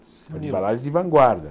De embalagens de vanguarda.